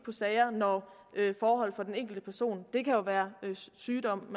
sagerne når forholdet for den enkelte person ændrer jo være en sygdom